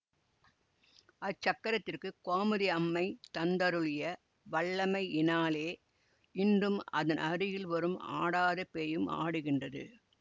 அச்சக்கரத்திற்குக் கோமதியம்மை தந்தருளிய வல்லமையினாலே இன்றும் அதனருகில் வரும் ஆடாத பேயும் ஆடுகின்றது